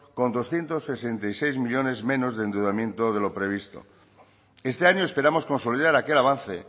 con doscientos sesenta y seis millónes menos de endeudamiento de lo previsto este año esperamos consolidar aquel avance